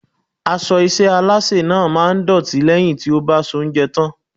Aṣọ iṣẹ́ Alásè náà máa dọ̀tí lẹ́yìn tí ó bá soúnjẹ tán.